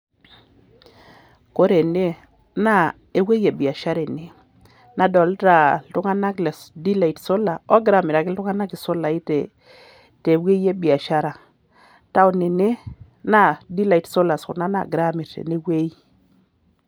Kore ene naa ewuei e biashara ene nadolta iltung'anak le delight solar oggira amiraki iltung'anak isolai te wuei e biashara. town ene naa delight solars kuna naagirai aamir tene wuei.